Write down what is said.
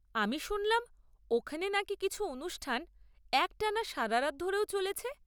আমি শুনলাম, ওখানে নাকি কিছু অনুষ্ঠান একটানা সারারাত ধরেও চলেছে?